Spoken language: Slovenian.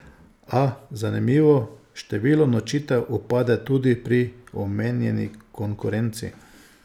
A, zanimivo, število nočitev upada tudi pri omenjeni konkurenci.